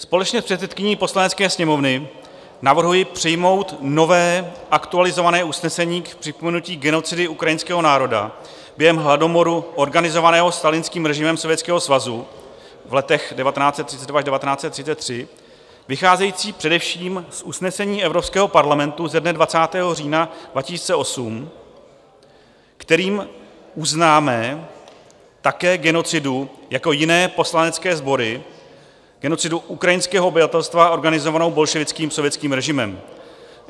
Společně s předsedkyní Poslanecké sněmovny navrhuji přijmout nové aktualizované usnesení k připomenutí genocidy ukrajinského národa během hladomoru organizovaného stalinským režimem Sovětského svazu v letech 1932 až 1933, vycházející především z usnesení Evropského parlamentu ze dne 20. října 2008, kterým uznáme také genocidu jako jiné poslanecké sbory, genocidu ukrajinského obyvatelstva organizovanou bolševickým sovětským režimem.